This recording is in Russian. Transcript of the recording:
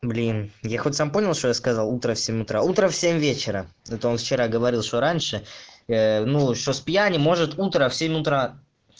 блин я хоть сам понял что я сказал утра всем утра утром в семь вечера это он вчера говорил что раньше ну что с пьяни может утро в семь утра